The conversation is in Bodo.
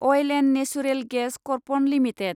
oil & natural gas corporation limited